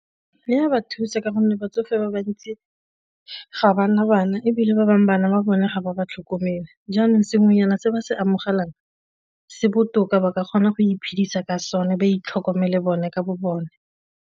E a ba thusa ka gonne batsofe ba bantsi ga ba na bana ebile ba bangwe bana ba bone ga ba ba tlhokomela jaanong sengwenyana se ba se amogelang se botoka ba ka kgona go iphedisa ka sone ba itlhokomele bone ka bo bone.